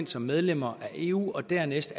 som medlemmer af eu og dernæst